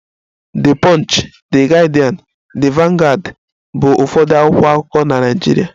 The punch, The Guardian, The vanguard bụ ụfọdụ akwụkwọ akụkọ na Nigeria